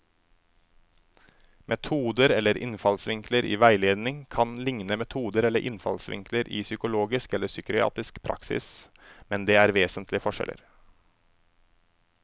Metoder eller innfallsvinkler i veiledning kan likne metoder eller innfallsvinkler i psykologisk eller psykiatrisk praksis, men det er vesentlige forskjeller.